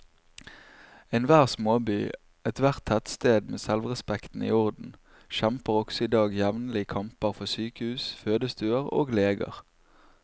Enhver småby, ethvert tettsted med selvrespekten i orden, kjemper også i dag jevnlige kamper for sykehus, fødestuer og leger.